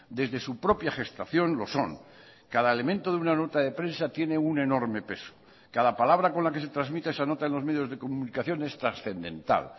desde su propia gestación lo son cada elemento de una nota de prensa tiene un enorme peso cada palabra con la que se transmite esa nota en los medios de comunicación es trascendental